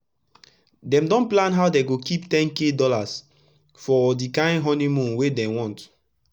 dem don plan how dem go kip $10k for d kain honi moon wey dem want